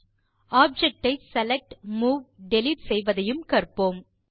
object ஐ select move delete செய்வதையும் கற்போம்